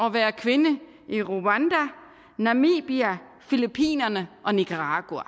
at være kvinde i rwanda namibia filippinerne og nicaragua